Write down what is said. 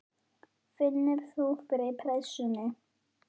Finnur þú fyrir pressunni?